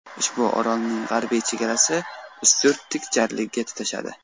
Ushbu orolning g‘arbiy chegarasi Ustyurt tik jarligiga tutashadi.